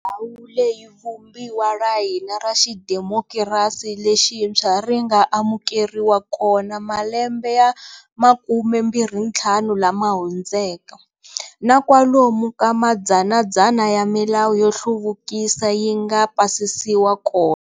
Ndhawu leyi Vumbiwa ra hina ra xidemokirasi lexintshwa ri nga amukeriwa kona malembe ya 25 lama hundzeka, na kwalomu ka madzanadzana ya milawu yo hluvukisa yi nga pasisiwa kona.